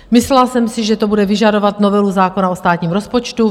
Myslela jsem si, že to bude vyžadovat novelu zákona o státním rozpočtu.